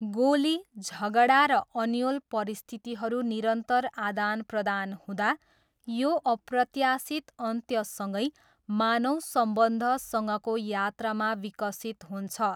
गोली, झगडा र अन्योल परिस्थितिहरू निरन्तर आदानप्रदान हुँदा, यो अप्रत्याशित अन्त्यसँगै मानव सम्बन्धसँगको यात्रामा विकसित हुन्छ।